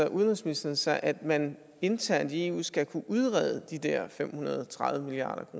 udenrigsministeren sig at man internt i eu skal kunne udrede de der fem hundrede og tredive milliard